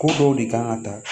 Ko dɔw de kan ka taa